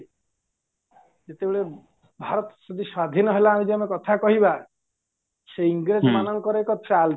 ଯେତେବେଳେ ଭାରତ ଯଦି ସ୍ଵାଧୀନ ହେଲା ଯଦି ଆମେ କଥା କହିବା ସେ ଇଂରେଜ ମାନଙ୍କର ଚାଲ